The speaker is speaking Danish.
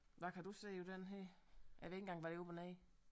Hvad kan du se på den her jeg ved ikke engang hvad der er op og ned